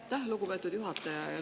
Aitäh, lugupeetud juhataja!